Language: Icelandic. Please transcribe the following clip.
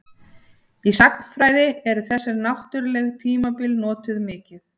Í sagnfræði eru þessi náttúrlegu tímabil notuð mikið.